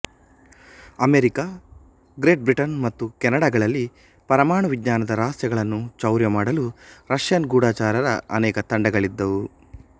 America Great Britain ಮತ್ತು ಕೆನಡಗಳಲ್ಲಿ ಪರಮಾಣು ವಿಜ್ಞಾನದ ರಹಸ್ಯಗಳನ್ನು ಚೌರ್ಯ ಮಾಡಲು ರಷ್ಯನ್ ಗೂಢಚಾರರ ಅನೇಕ ತಂಡಗಳಿದ್ದವು